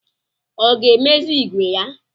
Ọ ga-emezi ìgwè ya?